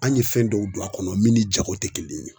An ye fɛn dɔw don a kɔnɔ min ni jago tɛ kelen ye